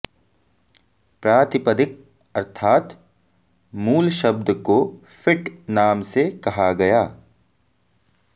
प्रातिपदिक अर्थात् मूल शब्द को फिट् नाम से कहा गया